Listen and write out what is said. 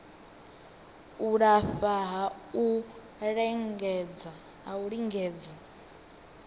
u lafha ha u lingedza